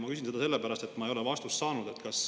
Ma küsin seda sellepärast, et ma ei ole vastust saanud.